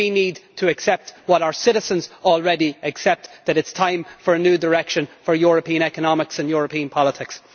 We need to accept what our citizens already accept that it is time for a new direction for European economics and European politics.